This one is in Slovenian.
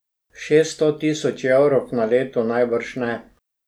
Šeststo tisoč evrov na leto najbrž ne.